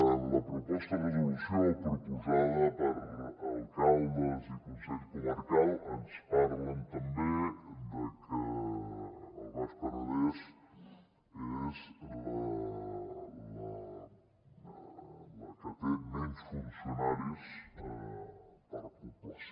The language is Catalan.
en la proposta de resolució proposada per alcaldes i consell comarcal ens parlen també de que el baix penedès és la que té menys funcionaris per població